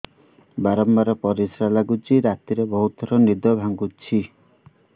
ବାରମ୍ବାର ପରିଶ୍ରା ଲାଗୁଚି ରାତିରେ ବହୁତ ଥର ନିଦ ଭାଙ୍ଗୁଛି